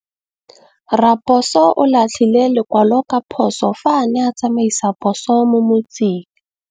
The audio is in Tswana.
Raposo o latlhie lekwalô ka phosô fa a ne a tsamaisa poso mo motseng.